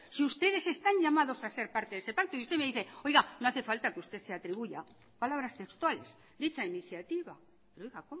si ustedes están llamados a ser parte de ese pacto y usted me dice oiga no hace falta que usted se atribuya palabras textuales dicha iniciativa pero oiga